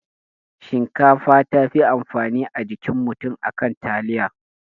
Shinkafa tafi amfani a jikin mutum akan taliya